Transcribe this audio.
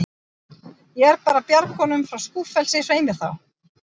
Ég er bara að bjarga honum frá skúffelsi, svei mér þá.